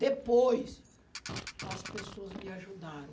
Depois, as pessoas me ajudaram.